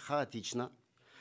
хаотично